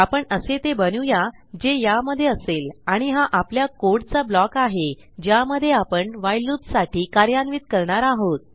आपण असे ते बनवूया जे यामध्ये असेल आणि हा आपल्या कोड चा ब्लॉक आहे ज्यामध्ये आपण व्हाईल loopसाठी कार्यान्वित करणार आहोत